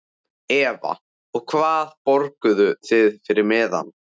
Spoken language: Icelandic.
Eva: Og hvað borguðuð þið fyrir miðann?